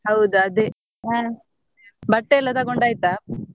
ಹೌದಾ ಅದೆ ಬಟ್ಟೆ ಎಲ್ಲ ತೊಗೊಂಡು ಆಯ್ತಾ?